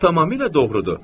Tamamilə doğrudur.